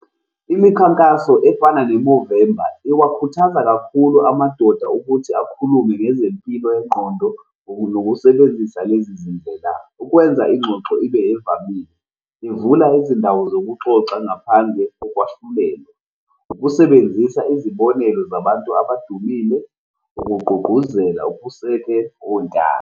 Imikhankaso efana neMovember iwakhuthaza kakhulu amadoda ukuthi akhulume ngezempilo yengqondo nokusebenzisa lezi zindlela. Ukwenza ingxoxo ibe evamile, bevule izindawo zokuxoxa, ngaphandle kokwahlulela, ukusebenzisa izibonelo zabantu abadumile, ukugqugquzela ukusekelwa ontanga.